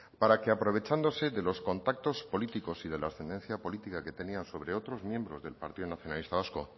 para que aprovechándose de los contactos políticos y de la ascendencia política que tenían sobre otros miembros del partido nacionalista vasco